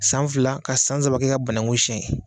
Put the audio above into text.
San fila ka san saba kɛ ka banakun siyɛn.